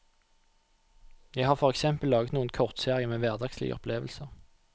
Jeg har for eksempel laget noen kortserier med hverdagslige opplevelser.